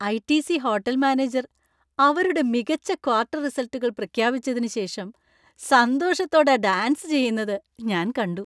ITC. Hotel manager അവരുടെ മികച്ച quarter റിസൾട്ടുകൾ പ്രഖ്യാപിച്ചതിന് ശേഷം സന്തോഷത്തോടെ ഡാൻസ് ചെയ്യുന്നത് ഞാൻ കണ്ടു.